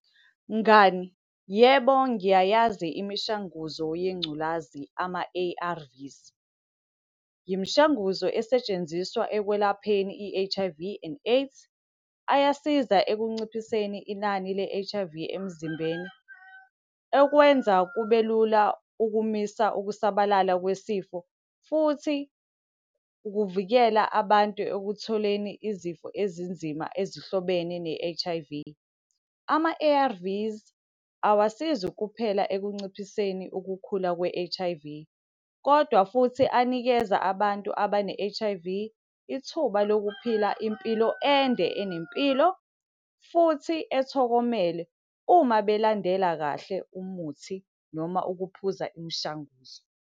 Mngani, yebo ngiyayazi imishanguzo yengculazi ama-A_R_V. Imishanguzo esetshenziswa ekwelapheni i-H_I_V and AIDS. Ayasiza ekunciphiseni inani le-H_I_V emzimbeni. Okwenza kubelula ukumisa ukusabalala kwesifo, futhi ukuvikela abantu ekutholeni izifo ezinzima ezihlobene ne-H_I_V. Ama-A_R_V awasizi kuphela ekunciphiseni ukukhula kwe-H_I_V, kodwa futhi anikeze abantu abane-H_I_V, ithuba lokuphila impilo ende enempilo futhi ethokomele, uma belandela kahle umuthi noma ukuphuza imishanguzo.